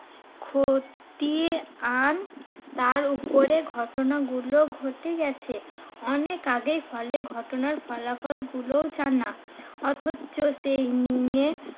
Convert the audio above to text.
খতিয়ে আন তার উপরে ঘটনাগুলো ঘটে গেছে অনেক আগে ফলে ঘটনার ফলাফল গুলোও জানা। অথচ সেই নিয়ে